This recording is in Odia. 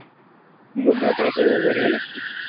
ରଥୟାତ୍ରା ପର୍ବ ବଢିଆ ଲାଗେ